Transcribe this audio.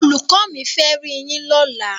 Olùkọ́ mi fẹ́ riyín lọ́la.